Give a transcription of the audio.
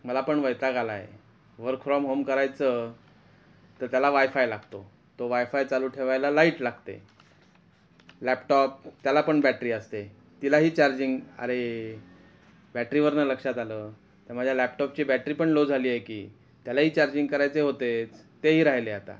मला पण वैताग आला आहे वर्क फ्रॉम होम करायचं तर त्याला वायफाय लागतो तो वायफाय चालू ठेवायला लाईट लागते लॅपटॉप त्याला पण बैटरी असते तिला हि चार्जिंग अरे बैटरी वरण लाक्षात आलं तर माझ्या लॅपटॉप ची बैटरी पण लो झाली आहे कि त्याला हि चार्जिंग करायचे होतेच तेही राहिले आता .